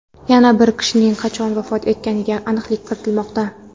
Yana bir kishining qachon vafot etganiga aniqlik kiritilmoqda.